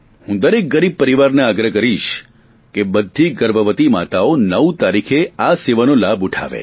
હું દરેક ગરીબ પરિવારને આગ્રહ કરીશ કે બધી ગર્ભવતી માતાઓ નવ તારીખે આ સેવાનો લાભ ઉઠાવશે